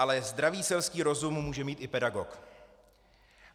Ale zdravý selský rozum může mít i pedagog.